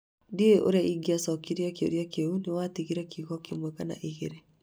Ndiũĩ ũrĩa ingĩcokia kĩũria kĩu nĩ watigire kiugo kĩmwe kana igĩrĩ